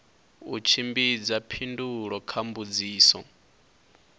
u tshimbidza phindulo kha mbudziso